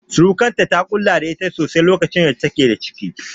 Surikarta, ta kula da ita sosai lokacin da take da ciki.